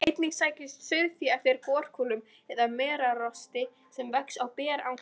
Einnig sækist sauðfé eftir gorkúlum eða merarosti sem vex á berangri.